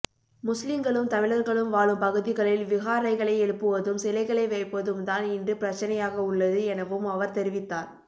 முஸ்லிங்களும் தமிழர்களும் வாழும் பகுதிகளில் விஹாரைகளை எழுப்புவதும் சிலைகளை வைப்பதும் தான் இன்று பிரச்சினையாகவுள்ளது எனவும் அவர் தெரிவித்தார்